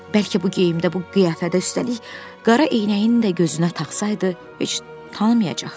Bəlkə bu geyimdədə, bu qiyafədə, üstəlik qara eynəyini də gözünə taxsaydı, heç tanımayacaqdı.